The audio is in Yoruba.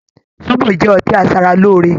Zobo jẹ́ ọtí asara lóore